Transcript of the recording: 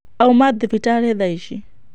Auma thibitarĩ thaici.